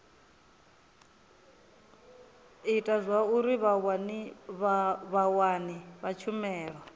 ita zwauri vhawani vha tshumelo